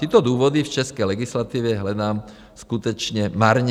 Tyto důvody v české legislativě hledám skutečně marně.